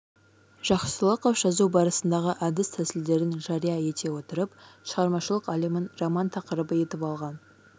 жақсылықов жазу барысындағы әдіс-тәсілдерін жария ете отырып шығармашылық әлемін роман тақырыбы етіп алған